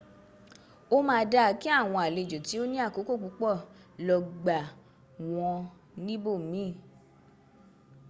ó ma dáa kí àwọn àlejò tí o ní àkókò púpọ̀ lògbà wọ́n níbò miin